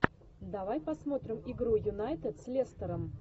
давай посмотрим игру юнайтед с лестером